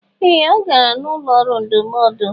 Ee! Ọ gara n'ụlọ ọrụ ndụmọdụ.